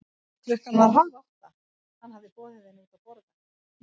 Klukkan var hálf átta, hann hafði boðið henni henni út að borða.